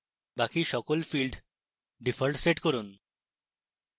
বাকি সকল fields default set করুন